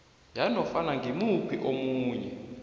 yanofana ngimuphi omunye